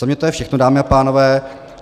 Za mě to je všechno, dámy a pánové.